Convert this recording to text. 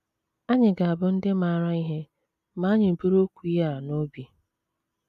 Anyị ga - abụ ndị maara ihe ma anyị buru okwu ya a n’obi.